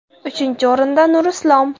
Uchinchi o‘rinda Nurislom.